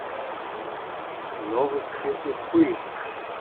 новости уфы